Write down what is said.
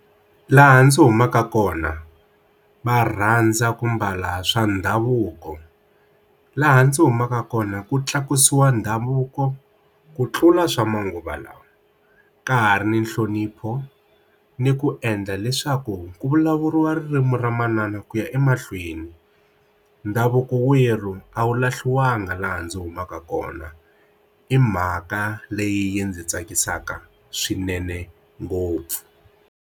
Laha ndzi humaka kona va rhandza ku mbala swa ndhavuko laha ndzi humaka kona ku tlakusiwa ndhavuko ku tlula swa manguva lawa ka ha ri ni nhlonipho ni ku endla leswaku ku vulavuriwa ririmi ra manana ku ya emahlweni ndhavuko wa werhu a wu lahliwanga laha ndzi humaka kona i mhaka leyi ndzi tsakisaka swinene ngopfu.